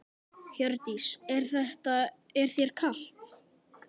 Hjördís: Er þér kalt?